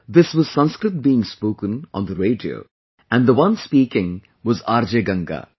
This was Sanskrit being spoken on the radio and the one speaking was RJ Ganga